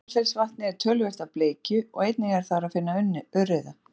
í meðalfellsvatni er töluvert af bleikju og einnig er þar að finna urriða